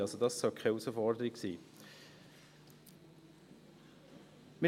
Also sollte das keine Herausforderung sein.